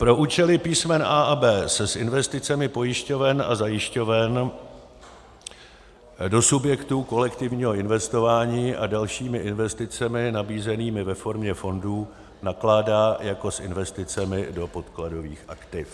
Pro účely písmen a) a b) se s investicemi pojišťoven a zajišťoven do subjektů kolektivního investování a dalšími investicemi nabízenými ve formě fondů nakládá jako s investicemi do podkladových aktiv.